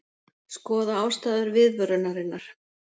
Skoða ástæður viðvörunarinnar